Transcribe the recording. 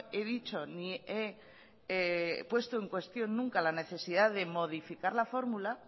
he dicho ni he puesto en cuestión nunca la necesidad de modificar la fórmula